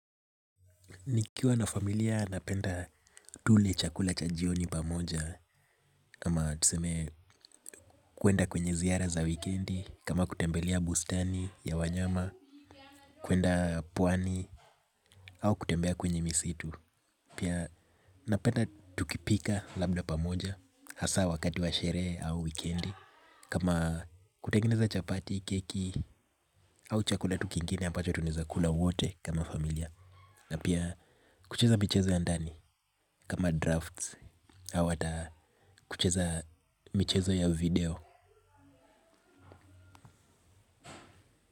Nikiwa na familia napenda tule chakula cha jioni pamoja ama tuseme kwenda kwenye ziara za wikendi kama kutembelea bustani ya wanyama. Kwenda pwani au kutembea kwenye misitu pia napenda tukipika labda pamoja hasa wakati wa sherehe au wikendi. Kama kutengeneza chapati, keki au chakula tu kingine ambacho tunaweza kula wote kama familia. Na pia kucheza michezo ya ndani. Kama drafts au hata kucheza michezo ya video.